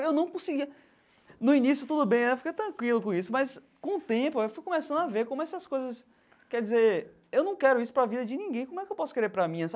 Eu não conseguia... No início tudo bem, eu fiquei tranquilo com isso, mas com o tempo eu fui começando a ver como essas coisas... Quer dizer, eu não quero isso para a vida de ninguém, como é que eu posso querer para a minha?